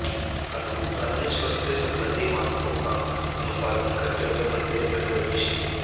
अनुरूप अन्य स्वास्थ्य संबंधी मानकों का अनुपालन करते हुए मंदिर में प्रवेश की